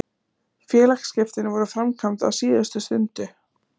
Félagsskiptin voru framkvæmd á síðustu stundu.